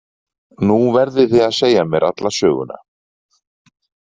Nú verðið þið að segja mér alla söguna